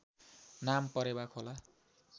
नाम परेवा खोला